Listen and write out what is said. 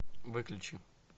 выключи